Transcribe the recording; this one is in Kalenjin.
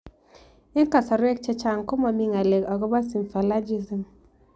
Eng' kasarwek chechang' ko mami ng'alek akopo Symphalagism